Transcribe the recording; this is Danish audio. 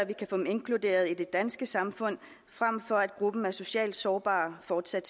vi kan få dem inkluderet i det danske samfund frem for at gruppen af socialt sårbare fortsat